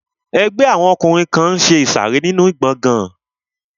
Ẹgbẹ́ àwọn ọkùnrin kan n ṣe ìsàrẹ́ nínu gbọgán